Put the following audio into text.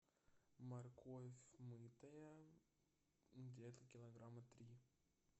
морковь мытая где то килограмма три